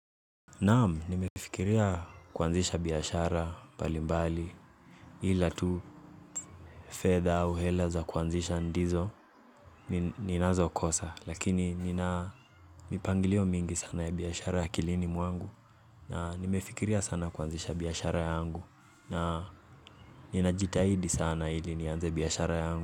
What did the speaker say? Naam, nimefikiria kuanzisha biashara mbalimbali ilatu fedha au hela za kuanzisha ndizo ninaz kosa lakini nina mipangilio mingi sana ya biashara akilini mwangu na nimefikiria sana kuanzisha biashara yangu na ninajitahidi sana ili nianze biashara yangu.